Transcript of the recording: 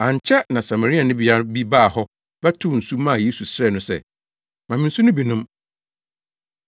Ankyɛ na Samarianibea bi baa hɔ bɛtow nsu maa Yesu srɛɛ no sɛ, “Ma me nsu no bi nnom.”